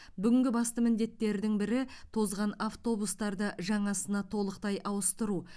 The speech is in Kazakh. бүгінгі басты міндеттердің бірі тозған автобустарды жаңасына толықтай ауыстыру